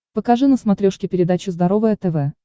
покажи на смотрешке передачу здоровое тв